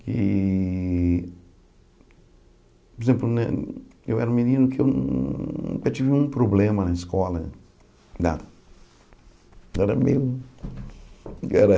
E por exemplo, né eu era um menino que nun nunca tive um problema na escola, nada. Eu era meio era